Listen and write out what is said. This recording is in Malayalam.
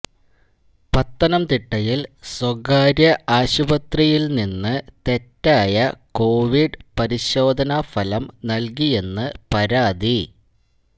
പത്തനംതിട്ടയില് സ്വകാര്യ ആശുപത്രിയില് നിന്ന് തെറ്റായ കൊവിഡ് പരിശോധനാ ഫലം നല്കിയെന്ന് പരാതി